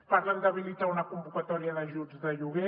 parlen d’habilitar una convocatòria d’ajuts de lloguer